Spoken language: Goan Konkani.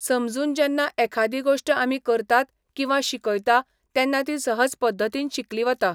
समजून जेन्ना एखादी गोश्ट आमी करतात किंवा शिकयता तेन्ना ती सहज पद्दतीन शिकली वता.